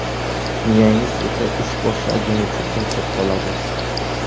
Miyangiz esa ish boshlangunicha charchab qoladi.